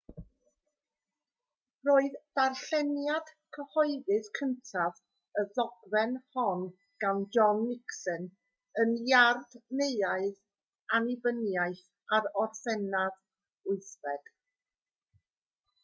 roedd darlleniad cyhoeddus cyntaf y ddogfen hon gan john nixon yn iard neuadd annibyniaeth ar orffennaf 8